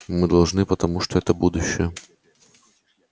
мы должны потому что это будущее